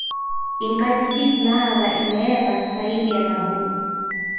inkajijik naata ineeta saidi e nabo